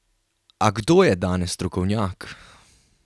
A kdo je danes strokovnjak?